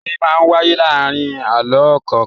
Orin máa ń wáyé láàárin àlọ́ kọ̀ọ̀kan.